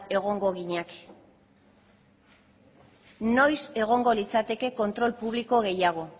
egongo ginateke noiz egongo litzateke kontrol publiko gehiago